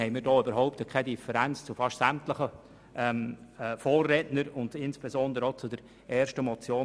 Insofern haben wir also kaum eine Differenz zu unseren Vorrednern, insbesondere zur ersten Motion.